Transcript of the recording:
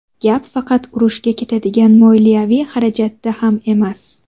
Gap faqat urushga ketadigan moliyaviy xarajatda ham emas.